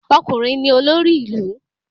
Ọkùnrin ni olórí ilu